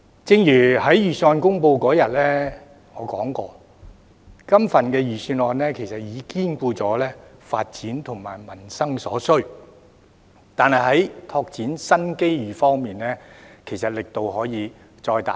正如我在預算案公布當天說過，這份預算案其實已兼顧發展和民生所需，但在拓展新機遇方面，其實力度可以再加大一點。